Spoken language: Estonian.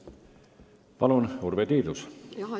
Palun, Urve Tiidus!